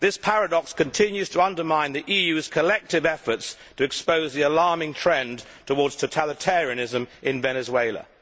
This paradox continues to undermine the EU's collective efforts to expose the alarming trend towards totalitarianism in Venezuela.